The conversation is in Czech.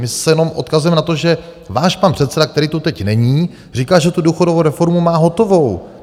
My se jenom odkazujeme na to, že váš pan předseda, který tu teď není, říká, že tu důchodovou reformu má hotovou.